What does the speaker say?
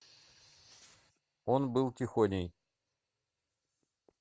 он был тихоней